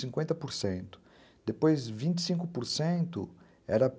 por cento. Depois vinte e cinco por cento era